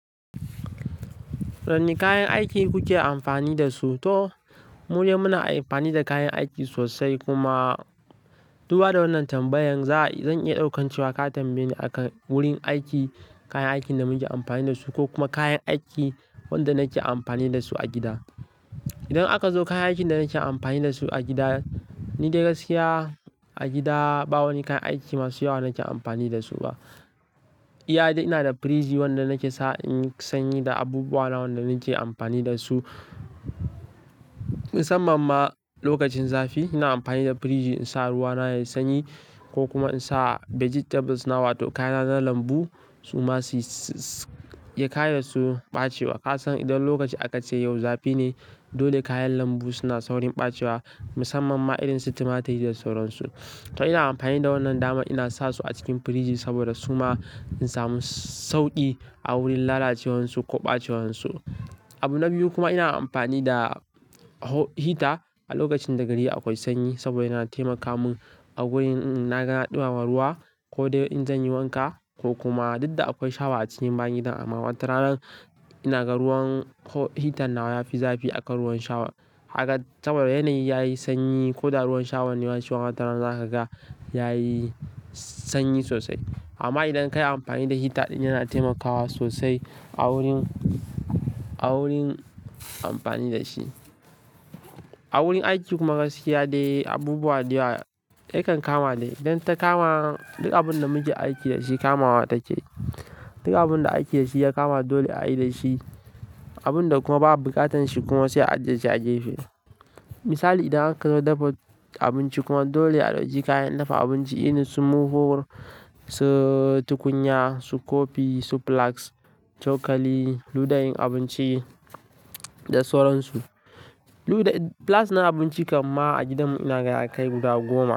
Wani kayan aiki kuke amfani dasu? To, mu dai muna amfani da kayan aiki sosai kuma. Duba da wannan tambayan, za-zan iya ɗaukan cewa ka tambaye ni akan wurin aiki, kayan aikin da muke amfani dasu ko kuma kayan aiki wanda nake amfani dasu a gida. Idan aka zo kayan aikin da nake amfani dasu a gida, ni dai gaskiya a gida ba wani kayan aiki masu yawa nake amfani dasu ba. Iya dai ina da firiji wanda nake sa in sanyi da abubuwana wanda nake amfani dasu. Musamman ma lokacin zafi ina amfani da firiji in sa ruwa na yayi sanyi ko kuma in sa vegetables na wato kayana na lambu su ma su yi-- ya kayasu ɓacewa. Ka san idan lokaci aka ce yau zafi ne, dole kayan lambu suna saurin ɓacewa musamman ma irin su tumatir da sauran su. To ina amfani da wannan dama ina sa su a cikin firiji saboda su ma in samu sauƙi a wurin lalacewar su ko ɓacewar su. Abu na biyu kuma ina amfani da ho-hita a lokacin da gari akwai sanyi saboda yana taimaka mun a wurin, n'na gana ɗumama ruwa ko dai in zan yi wanka ko kuma dukda akwai shawa a cikin bayan gidan amma watarana ina ga ruwan ho-hitan nawa ya fi zafi akan ruwan shawa kaga saboda yanayi yayi sanyi ko da ruwan shawan ne shima watarana zaka ga yayi sanyi sosai. Amma idan kayi amfani da hita ɗin yana taimakawa sosai a wurin, a wurin amfani da shi. A wurin aiki kuma gaskiya dai abubuwa dayawa yakan kama dai. Idan ta kama, duk abun da muke aiki da shi kamawa take. Duk abun da aiki da shi ya kama dole ayi dashi, abun da kuma ba buƙatan shi kuma sai a ajiye shi a gefe Misali idan aka zo dafa abinci kuma dole a ɗauki kayan dafa abinci irin su murhu, su tukunya, su kofi, su flaks, cokali, ludayin abinci da sauransu. Luda-- plas na abinci kam ma a gidan mu ina ga ya kai guda goma.